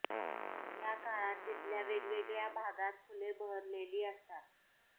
या काळात तिथल्या वेगवेगळ्या भागात फुले बहरलेली असतात